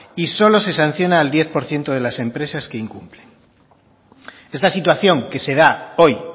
y solo se sanciona al diez de las empresas que incumplen esta situación que se da hoy